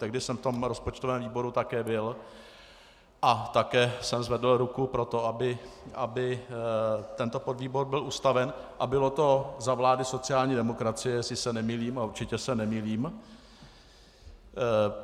Tehdy jsem v tom rozpočtovém výboru také byl a také jsem zvedl ruku pro to, aby tento podvýbor byl ustaven, a bylo to za vlády sociální demokracie, jestli se nemýlím a určitě se nemýlím.